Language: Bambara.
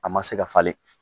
A ma se ka falen.